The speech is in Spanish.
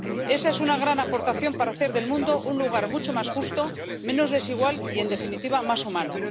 Esa es una gran aportación para hacer del mundo un lugar mucho más justo, menos desigual y, en definitiva, más humano.